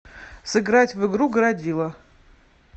сыграть в игру городило